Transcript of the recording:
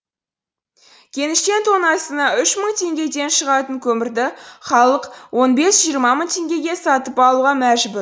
кеніштен тоннасына үш мың теңгеден шығатын көмірді халық он бес жиырма мың теңгеге сатып алуға мәжбүр